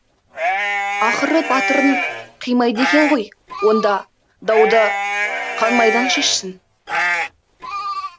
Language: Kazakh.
ақыры батырын қимайды екен ғой онда дауды қан майдан шешсін